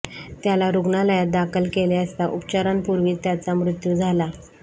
त्याला रुग्णालयात दाखल केले असता उपचारांपूर्वीच त्याचा मृत्यू झाला